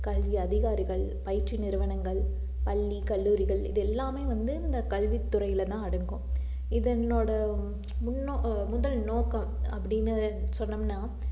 கல்வி அதிகாரிகள், பயிற்சி நிறுவனங்கள், பள்ளி, கல்லூரிகள், இதெல்லாமே வந்து இந்த கல்வித்துறையிலதான் அடங்கும் இதனோட முன்நோ~ முதல் நோக்கம் அப்படின்னு சொன்னோம்னா